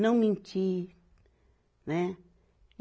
Não mentir, né?